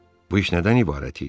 Bu iş nədən ibarət idi?